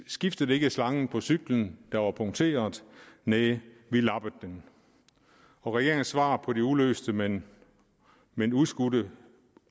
skiftede slangen på cyklen der var punkteret næh vi lappede den og regeringens svar på det uløste men men udskudte